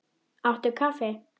Áttu kaffi?